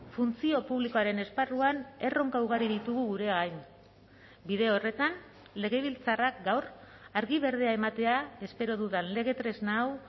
funtzio publikoaren esparruan erronka ugari ditugu gure gain bide horretan legebiltzarrak gaur argi berdea ematea espero dudan lege tresna hau